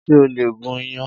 Ṣé o lè gun iyan?